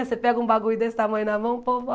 Você pega um bagulho desse tamanho na mão, o povo